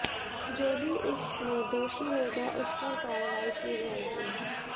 जो भी इस में दोषी होगा उस पर कार्रवाई की जाएगी